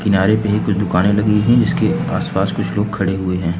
किनारे पे ये जो कुछ दुकानें लगी हुई हैं इसके आसपास कुछ लोग खड़े हुए हैं।